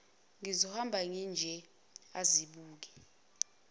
ngizohamba nginje azibuke